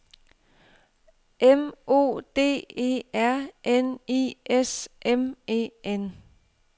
M O D E R N I S M E N